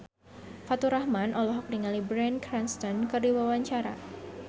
Faturrahman olohok ningali Bryan Cranston keur diwawancara